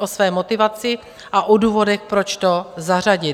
o své motivaci a o důvodech, proč to zařadit.